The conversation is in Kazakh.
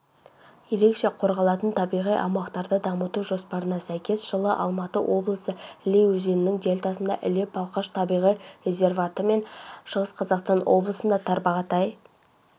ерекше қорғалатын табиғи аумақтарды дамыту жоспарына сәйкес жылы алматы облысы іле өзенінің дельтасында іле-балқаш табиғи резерваты мен шығыс қазақстан облысында тарбағатай